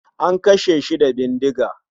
An kashe shi da bindiga